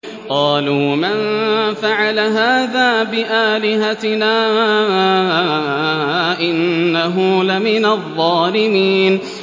قَالُوا مَن فَعَلَ هَٰذَا بِآلِهَتِنَا إِنَّهُ لَمِنَ الظَّالِمِينَ